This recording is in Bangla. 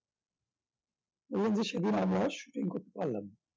এরকম দৃশ্যের দিন আমরা shooting করতে পারলাম না